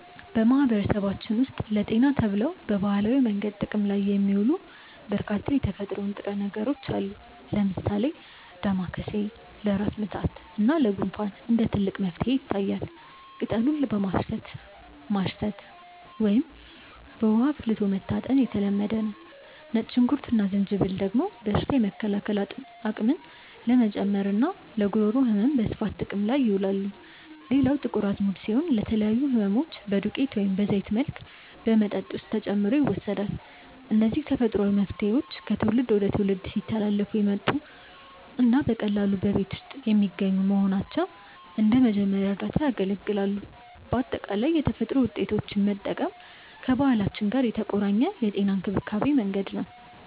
በማህበረሰባችን ውስጥ ለጤና ተብለው በባህላዊ መንገድ ጥቅም ላይ የሚውሉ በርካታ የተፈጥሮ ንጥረ ነገሮች አሉ። ለምሳሌ ዳማከሴ ለራስ ምታት እና ለጉንፋን እንደ ትልቅ መፍትሄ ይታያል፤ ቅጠሉን በማሸት ማሽተት ወይም በውሃ አፍልቶ መታጠን የተለመደ ነው። ነጭ ሽንኩርት እና ዝንጅብል ደግሞ በሽታ የመከላከል አቅምን ለመጨመርና ለጉሮሮ ህመም በስፋት ጥቅም ላይ ይውላሉ። ሌላው ጥቁር አዝሙድ ሲሆን፣ ለተለያዩ ህመሞች በዱቄት ወይም በዘይት መልክ በመጠጥ ውስጥ ተጨምሮ ይወሰዳል። እነዚህ ተፈጥሯዊ መፍትሄዎች ከትውልድ ወደ ትውልድ ሲተላለፉ የመጡና በቀላሉ በየቤቱ የሚገኙ በመሆናቸው እንደ መጀመሪያ እርዳታ ያገለግላሉ። በአጠቃላይ የተፈጥሮ ውጤቶችን መጠቀም ከባህላችን ጋር የተቆራኘ የጤና እንክብካቤ መንገድ ነው።